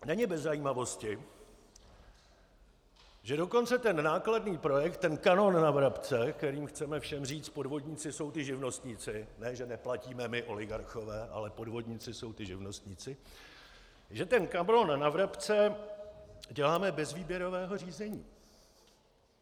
Není bez zajímavosti, že dokonce ten nákladný projekt, ten kanon na vrabce - kterým chceme všem říct: podvodníci jsou ti živnostníci, ne že neplatíme my oligarchové, ale podvodníci jsou ti živnostníci - že ten kanon na vrabce děláme bez výběrového řízení.